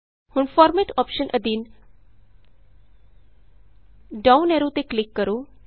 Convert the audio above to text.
ਹੁਣ format option ਅਧੀਨ down arrow ਤੇ ਕਲਿਕ ਕਰੋ